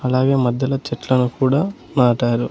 అలాగే మధ్యలో చెట్లను కూడా నాటారు.